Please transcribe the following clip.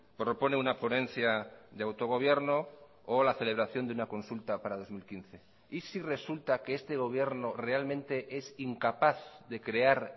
propone una ponencia de autogobierno o la celebración de una consulta para dos mil quince y si resulta que este gobierno realmente es incapaz de crear